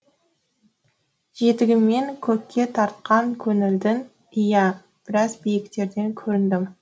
жетегімен көкке тартқан көңілдің иә біраз биіктерден көріндім